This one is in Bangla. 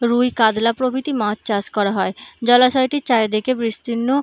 রুই কাতলা প্রভৃতি মাছ চাষ করা হয় জলাশয়টির চারিদিকে বিস্তীর্ণ --